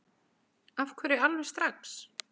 Af hverju alveg strax?